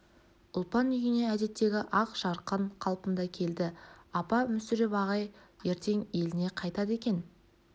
ұлпан үйіне әдеттегі ақ жарқын қалпында келді апа мүсіреп ағай ертең еліне қайтады екен